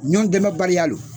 Ɲɔn dɛmɛbaliya don